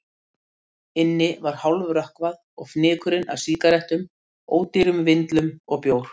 Inni var hálfrökkvað, og fnykur af sígarettum, ódýrum vindlum og bjór.